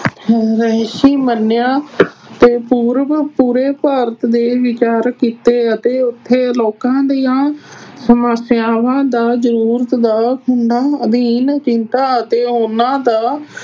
ਮੰਨਿਆ ਤੇ ਪੂਰਬ ਪੂਰੇ ਭਾਰਤ ਦੇ ਵਿਚਾਰ ਕੀਤੇ ਅਤੇ ਉੱਥੇ ਲੋਕਾਂ ਦੀਆਂ ਸਮੱਸਿਆਵਾਂ ਦਾ ਜ਼ਰੂਰਤ ਦਾ ਅਧੀਨ ਚਿੰਤਾ ਅਤੇ ਉਹਨਾਂ ਦਾ